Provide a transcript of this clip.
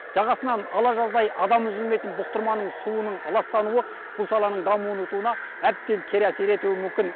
жағасынан ала жаздай адам үзілмейтін бұқтырманың суының ластануы бұл саланың әбден кері әсер етуі мүмкін